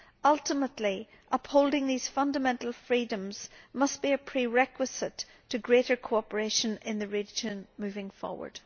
Ultimately, upholding these fundamental freedoms must be a prerequisite to greater cooperation in the region, moving forward.